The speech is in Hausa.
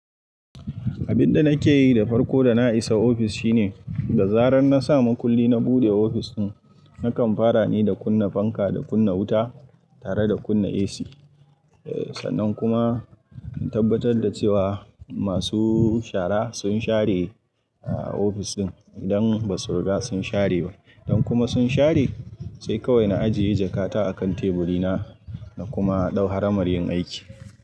Abin da nake yi da farko da na isa ofis shine, da zarar na sa makulli na buɗe ofis ɗin, nakan fara ne da kunna fanka da kunna wuta tare da kunna AC. Sannan kuma in tabbatar da cewa masu shara sun share ofis ɗin idan ba su riga sun share ba. Idan kuma sun share, sai kawai na ajiye jakata a kan teburi na. Na kuma ɗau haramar yin aiki.